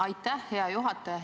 Aitäh, hea juhataja!